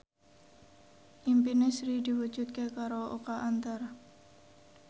impine Sri diwujudke karo Oka Antara